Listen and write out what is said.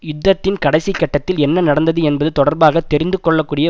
யுத்தத்தின் கடைசி கட்டத்தில் என்ன நடந்தது என்பது தொடர்பாக தெரிந்துகொள்ளக்கூடிய